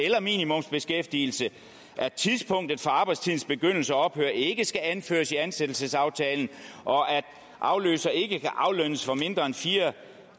eller minimumsbeskæftigelse at tidspunktet for arbejdstidens begyndelse og ophør ikke skal anføres i ansættelsesaftalen og at afløser ikke kan aflønnes for mindre end fire